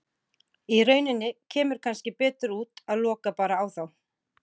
Í rauninni kemur kannski betur út að loka bara á þá.